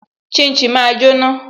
Shin shin máa jóná